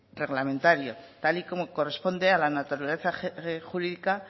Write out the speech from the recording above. reglamentario tal y como corresponde a la naturaleza jurídica